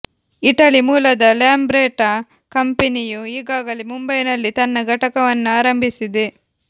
Italy ಮೂಲದ Lambretta ಕಂಪನಿಯು ಈಗಾಗಲೇ ಮುಂಬೈನಲ್ಲಿ ತನ್ನ ಘಟಕವನ್ನು ಆರಂಭಿಸಿದೆ